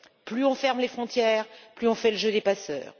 Plus on ferme les frontières, plus on fait le jeu des passeurs.